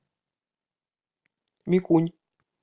микунь